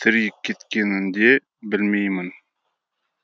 тірі кеткенін де білмеймін